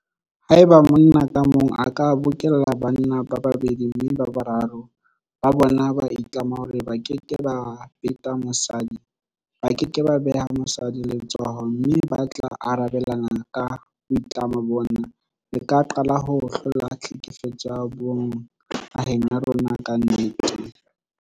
Haeba monna ka mong a ka bokella banna ba babedi mme boraro ba bona ba itlama hore ba keke ba beta mosadi, ba ke ke ba beha mosadi letsoho mme ba tla arabelana ka boitlamo bona, re ka qalaho hlola tlhekefetso ya bong naheng ya rona ka nnete.